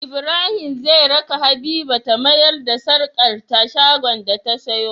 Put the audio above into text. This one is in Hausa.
Ibrahim zai raka habiba ta mayar da sarƙar ta shagon da ta siyo